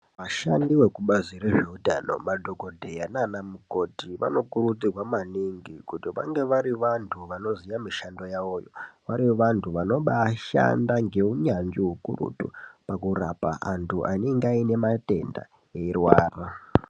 Vashandi vekubazi rezveutano madhokodheya naana mukoti vanokurudzirwa maningi kuti vange vari vantu vanoziya mishando yavoyo vari vantu vanobaashanda ngeunyanzvi hwukurutu pakurapa antu anenga aine matenda eirwara.